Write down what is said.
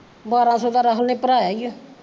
ਬਾਰਾ ਸੋ ਦਾ ਮੈਂ ਹੁਣੇ ਭਰਵਾਇਆ ਈ ਓ